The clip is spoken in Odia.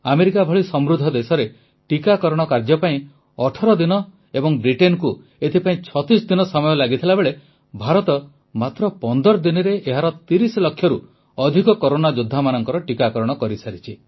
ଆମେରିକା ଭଳି ସମୃଦ୍ଧ ଦେଶରେ ଟିକାକରଣ କାର୍ଯ୍ୟ ପାଇଁ 18 ଦିନ ଏବଂ ବ୍ରିଟେନକୁ ଏଥିପାଇଁ 36 ଦିନ ସମୟ ଲାଗିଥିବା ବେଳେ ଭାରତ ମାତ୍ର 15 ଦିନରେ ଏହାର 30 ଲକ୍ଷରୁ ଅଧିକ କରୋନା ଯୋଦ୍ଧାମାନଙ୍କ ଟିକାକରଣ କରିସାରିଛି